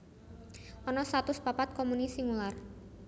Ana satus papat komuni singular